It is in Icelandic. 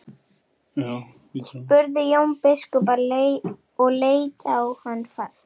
spurði Jón biskup og leit á hann fast.